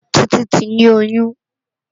Titi ti ni óyùn